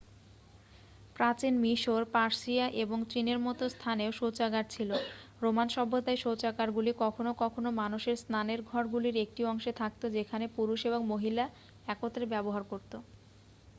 প্রাচীন মিশর পার্সিয়া এবং চীনের মতো স্থানেও শৌচাগার ছিল রোমান সভ্যতায় শৌচাগারগুলি কখনও কখনও মানুষের স্নানের ঘরগুলির একটি অংশে থাকতো যেখানে পুরুষ এবং মহিলা একত্রে ব্যবহার করতো